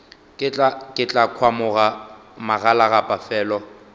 ke tla khwamologa magalagapa felo